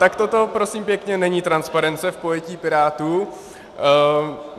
Tak toto, prosím pěkně, není transparence v pojetí Pirátů.